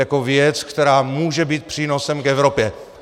Jako věc, která může být přínosem k Evropě.